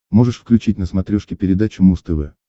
можешь включить на смотрешке передачу муз тв